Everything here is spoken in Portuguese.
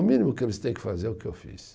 O mínimo que eles têm que fazer é o que eu fiz.